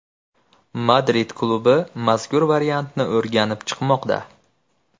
Madrid klubi mazkur variantni o‘rganib chiqmoqda.